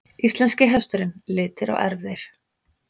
Íslenski hesturinn- litir og erfðir.